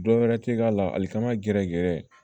Dɔ wɛrɛ te k'a la ali kan ka gɛrɛ